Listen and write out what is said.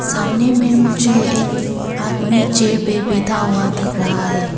सामने में मुझे एक आदमी चेयर पे बैठा हुआ दिख रहा है।